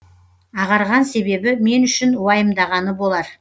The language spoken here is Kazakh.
ағарған себебі мен үшін уайымдағаны болар